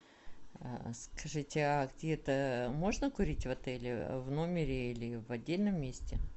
скажите а где то можно курить в отеле в номере или в отдельном месте